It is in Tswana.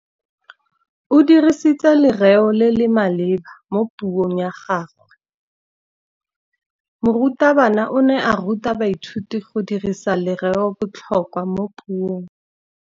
O dirisitse lerêo le le maleba mo puông ya gagwe. Morutabana o ne a ruta baithuti go dirisa lêrêôbotlhôkwa mo puong.